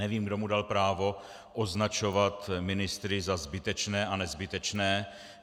Nevím, kdo mu dal právo označovat ministry za zbytečné a nezbytečné.